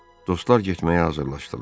Dostlar getməyə hazırlaşdılar.